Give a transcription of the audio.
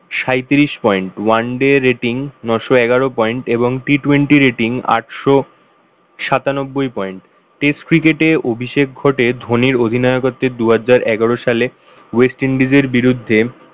সাইত্রিশ point oneday rating ন'শ এগারো point এবং T twenty rating আটশো সাতানব্বই point test cricket এ অভিষেক ঘটে ধনীর অধিনায়কত্বের দুহাজার এগারো সালে west indies এর বিরুদ্ধে